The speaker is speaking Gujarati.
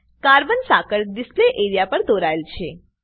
કાર્બન સાંકળ ડીસ્લ્પે એરિયા પર દોરાય છે